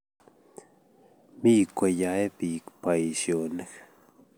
Mi koyae biik baisionik